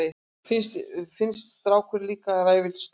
Finnst strákurinn líka ræfilslegur.